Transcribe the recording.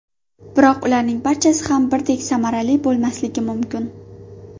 Biroq ularning barchasi ham birdek samarali bo‘lmasligi mumkin.